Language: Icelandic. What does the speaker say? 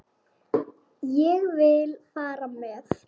Ég vil fara með.